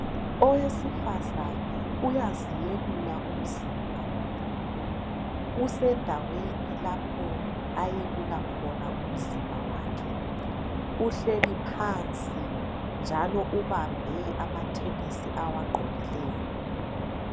owesifazane uyaziyelula umzimba usendaweni lapha ayelula khona umzimbawakhe uhleli phansi njalo ubambe amathenisi awagqokileyo